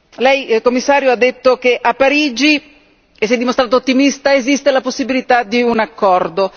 Lei Commissario ha detto che a Parigi si è dimostrato ottimista esiste la possibilità di un accordo.